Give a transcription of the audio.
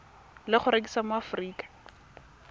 le go rekisiwa mo aforika